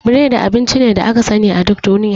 Biredi abinci ne aka sani a duk duniya.